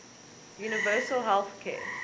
universal health care